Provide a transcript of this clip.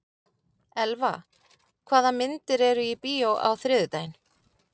Elva, hvaða myndir eru í bíó á þriðjudaginn?